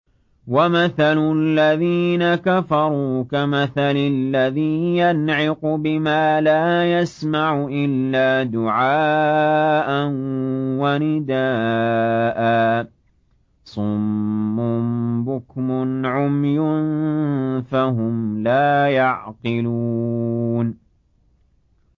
وَمَثَلُ الَّذِينَ كَفَرُوا كَمَثَلِ الَّذِي يَنْعِقُ بِمَا لَا يَسْمَعُ إِلَّا دُعَاءً وَنِدَاءً ۚ صُمٌّ بُكْمٌ عُمْيٌ فَهُمْ لَا يَعْقِلُونَ